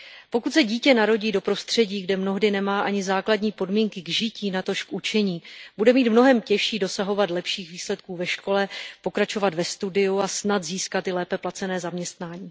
Pokud se dítě narodí do prostředí, kde mnohdy nemá ani základní podmínky k žití, natož k učení, bude mít mnohem těžší dosahovat lepších výsledků ve škole, pokračovat ve studiu a snad získat i lépe placené zaměstnání.